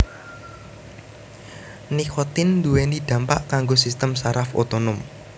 Nikotin nduwèni dampak kanggo sistem saraf otonom